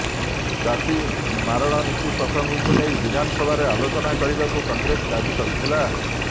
ଚାଷୀ ମାରଣ ନୀତି ପ୍ରସଙ୍ଗକୁ ନେଇ ବିଧାନସଭାରେ ଆଲୋଚନା କରିବାକୁ କଂଗ୍ରେସ ଦାବି କରିଥିଲା